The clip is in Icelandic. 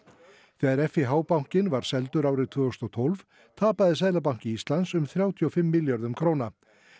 þegar bankinn var seldur árið tvö þúsund og tólf tapaði Seðlabanki Íslands um þrjátíu og fimm milljörðum króna